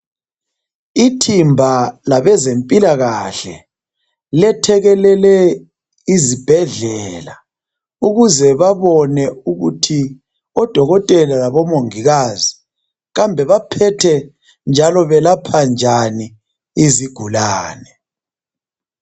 Ithimba labezempilakahle lethekelele izibhedlela ukuze babone kahle ukuthi odokotela labomongikazi baphethe njalo belapha njani izigulani.